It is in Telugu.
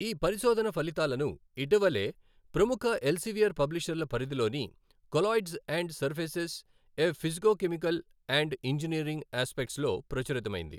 ఈ పరిశోధన ఫలితాలను ఇటీవలే ప్రముఖ ఎల్సెవియర్ పబ్లిషర్ల పరిధిలోని colloids and surfaces A physicochemical and engineering అస్పెక్ట్స్లో ప్రచురితమైంది.